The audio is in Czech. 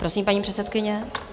Prosím, paní předsedkyně.